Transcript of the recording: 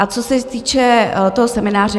A co se týče toho semináře.